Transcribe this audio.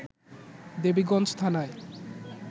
দেবীগঞ্জ থানায়